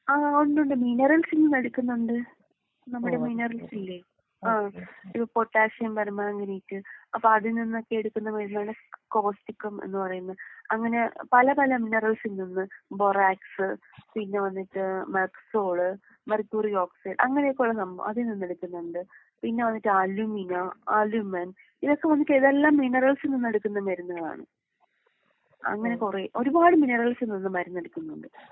ആഹ് ഉണ്ട് ഉണ്ട് മിനറൽസിൽ നിന്നെടുക്കുന്നുണ്ട്. നമ്മുടെ മിനറൽസില്ലേ? ആഹ് പൊട്ടാസിയം പെര്‍മാംഗനേറ്റ് അപ്പൊ അതിൽ നിന്നൊക്കെ എടുക്കുന്ന മരുന്നാണ് കോപ്സിക്കം എന്ന് പറയുന്നത്. അങ്ങനെ പല പല മിനറൽസിൽ നിന്ന് ബൊറാക്സ് പിന്നെ വന്നിട്ട് മെക്സോള് മെർക്കുറി ഓക്സൈൻ അങ്ങനെ ഒക്കെയുള്ള സംഭവം അതിൽ നിന്ന് എടുക്കുന്നുണ്ട്. പിന്നെ വന്നിട്ട് അലുമിനാ അലുമൻ ഇതൊക്കെ വന്നിട്ട് ഇതെല്ലാം മിനറൽസിൽ നിന്ന് എടുക്കുന്ന മരുന്നുകളാണ്. അങ്ങനെ കൊറേ ഒരുപാട് മിനറൽസിൽ നിന്ന് മരുന്ന് എടുക്കുന്നുണ്ട്.